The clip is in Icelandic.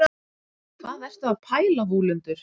hvað ertu að pæla vúlundur